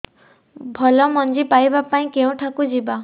ଭଲ ମଞ୍ଜି ପାଇବା ପାଇଁ କେଉଁଠାକୁ ଯିବା